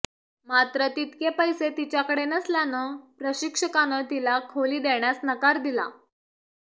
मात्र तितके पैसे तिच्याकडे नसल्यानं प्रशिक्षकानं तिला खोली देण्यास नकार दिला